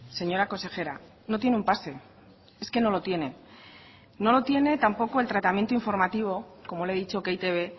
señora consejera no tiene un pase es que no lo tiene no lo tiene tampoco el tratamiento informativo como le he dicho que e i te be